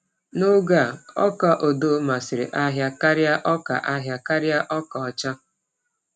N’oge a, ọka odo masịrị ahịa karịa ọka ahịa karịa ọka ọcha.